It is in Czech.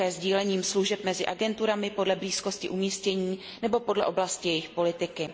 také sdílením služeb mezi agenturami podle blízkosti umístění nebo podle oblasti jejich politiky.